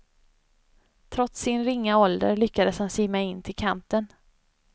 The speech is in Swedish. Trots sin ringa ålder lyckades han simma in till kanten.